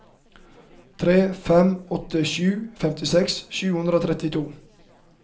tre fem åtte sju femtiseks sju hundre og trettito